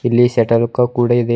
ಇಲ್ಲಿ shuttlecock ಕೂಡ ಇದೆ.